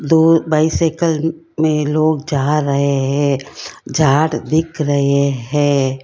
दूर बाइसिकल में लोग जा रहे हैं दिख रहे हैं।